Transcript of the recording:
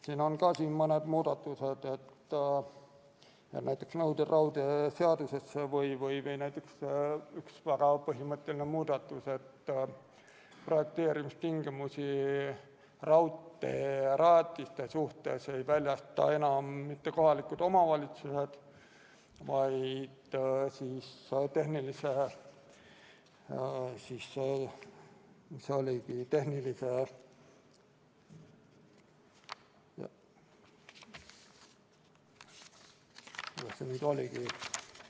Siin on mõned muudatused, näiteks nõuded raudteeseaduses, või üks väga põhimõtteline muudatus, et projekteerimistingimusi raudteerajatiste suhtes ei väljasta enam kohalikud omavalitsused, vaid ... kuidas see nüüd oligi ...